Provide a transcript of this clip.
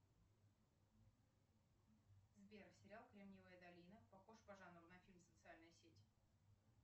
сбер сериал кремниевая долина похож по жанру на фильм социальная сеть